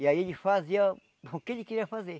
E aí ele fazia o que ele queria fazer.